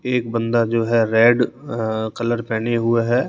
एक बंदा जो है रेड अ कलर पहने हुए हैं।